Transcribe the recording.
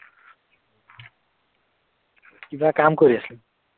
কিবা কাম কৰি আছিল?